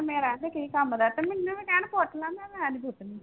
ਮੇਰਾ ਤੇ ਕੀ ਕੰਮ ਦਾ ਤੇ ਮੈਨੂੰ ਵੀ ਕਹਿਣ ਪੁੱਟ ਲਾ ਮੈਂ ਕਿਹਾ ਮੈਂ ਨੀ ਪੁੱਟਣੀ।